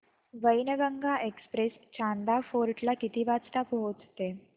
Wainganga express Chanda fort ला किती वाजता पोहचते